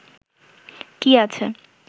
কি আছে